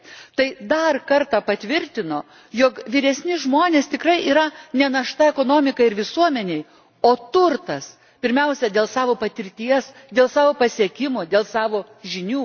Tai dar kartą patvirtino, jog vyresni žmonės tikrai yra ne našta ekonomikai ir visuomenei, o turtas, pirmiausia, dėl savo patirties, dėl savo pasiekimų, dėl savo žinių.